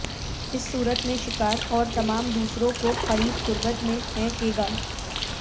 اس صورت میں شکار اور تمام دوسروں کو قریب قربت میں ہیں کہ گا